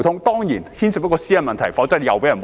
當然，這方面牽涉私隱問題，動輒又會遭人抹黑。